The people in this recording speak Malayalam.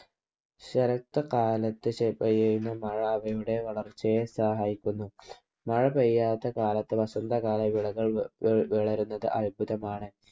ശരത് കാലത്തു പെയ്യുന്ന മഴ അവയുടെ വളർച്ചയെ സഹായിക്കുന്നു. മഴ പെയ്യാത്ത കാലത്ത് വസന്തകാല വിളകൾ വളരുന്നത് അത്ഭുതമാണ്.